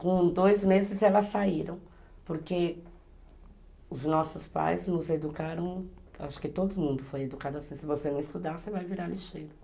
Com dois meses elas saíram, porque os nossos pais nos educaram, acho que todo mundo foi educado assim, se você não estudar, você vai virar lixeiro.